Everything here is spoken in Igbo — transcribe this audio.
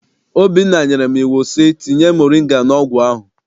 Obinna nyere m iwu sị, tinye moringa n'ọgwụ ahụ!